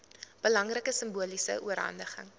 belangrike simboliese oorhandiging